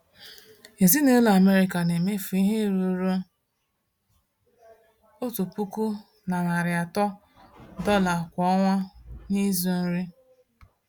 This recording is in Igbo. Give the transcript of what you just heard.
Ezinụlọ Amerịka na-emefu ihe ruru $1,300 kwa ọnwa n’ịzụ nri.